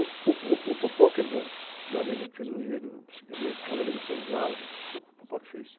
O, o, o, que era da, da Nenê, que fez um enredo, Casa Grande de Senzala, que foi o que fez.